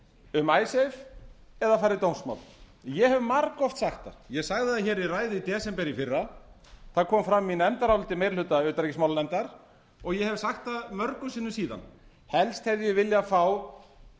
um icesave eða fara í dómsmál ég hef margoft sagt það ég sagði hér í ræðu í desember í fyrra það kom fram í nefndaráliti meiri hluta utanríkismálanefndar og ég hef sagt það mörgum sinnum síðan helst hefði ég viljað fá